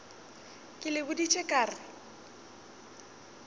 ke le boditše ka re